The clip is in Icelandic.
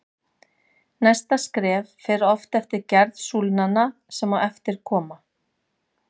Næsta skref fer oft eftir gerð súlnanna sem á eftir koma.